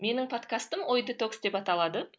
менің подкастым ой детокс деп аталады